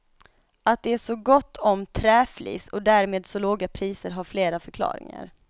Att det är så gott om träflis och därmed så låga priser har flera förklaringar.